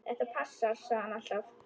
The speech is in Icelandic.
Þetta passar, sagði hann alltaf.